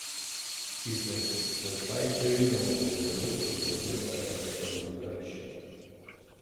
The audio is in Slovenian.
Ki se s pajčevino v želodcu zavedajo, da so drugačni.